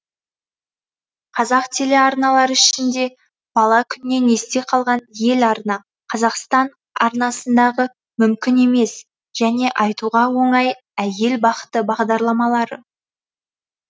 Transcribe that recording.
қазақ телеарналы ішінде бала күннен есте қалған еларна қазақстан арнасындағы мүмкін емес және айтуға оңай әйел бақыты бағдарламалары